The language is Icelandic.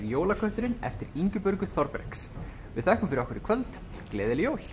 jólaköttinn eftir Ingibjörgu Þorbergs við þökkum fyrir okkur í kvöld gleðileg jól